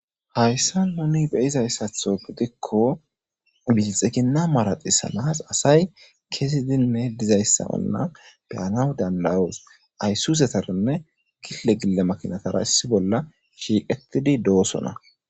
hayssa noni be izayssatho gidikko mizixekinna maraxisanas asay kesidinne dizayssa anna biyanaw danlawoos ayssusetarinne gille gille makinatara issi bolla shiiqetidi doosona